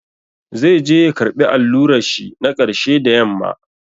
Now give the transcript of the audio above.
Zai je ya karɓi allurar shi na ƙarshe da yamma.